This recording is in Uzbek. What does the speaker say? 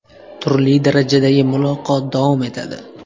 Turli darajadagi muloqot davom etadi.